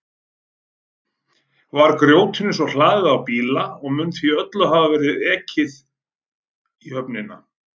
Var grjótinu svo hlaðið á bíla og mun því öllu hafa verið ekið í höfnina.